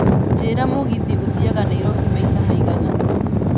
njiĩra mũgithi ũthiaga Nairobi maita maigana